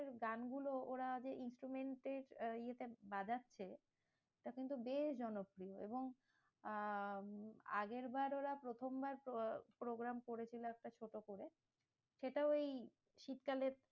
গানগুলো ওরা যে instrument এর আহ ইয়েটা বাজাচ্ছে ওটা কিন্তু বেশ জনপ্রিয় এবং আহ আগের বার ওরা প্রথমবার programme করেছিল একটা ছোট করে। সেটাও এই শীতকালে